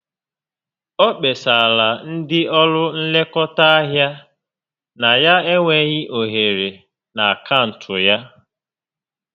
O kpesarala ndị ọrụ nlekọta ahịa na ya enweghị ohere na akaụntụ ya